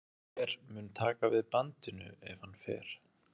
Hver mun taka við bandinu ef hann fer?